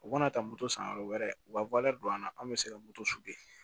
U kana taa moto san yɔrɔ wɛrɛ u ka don an na anw bɛ se ka moto suɲɛ